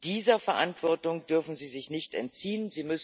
Dieser Verantwortung dürfen sie sich nicht entziehen.